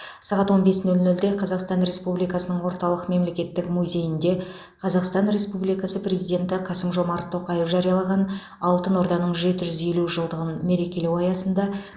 сағат он бес нөл нөлде қазақстан республикасының орталық мемлекеттік музейінде қазақстан республикасы президенті қасым жомарт тоқаев жариялаған алтын орданың жеті жүз елу жылдығын мерекелеу аясында